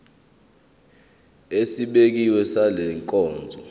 esibekiwe sale nkonzo